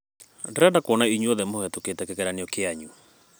Ndĩrenda kuona inyuothe mũhĩtũkite kĩgeranio kĩanyu.